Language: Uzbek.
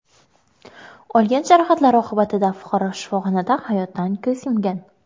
Olgan jarohatlari oqibatida fuqaro shifoxonada hayotdan ko‘z yumgan.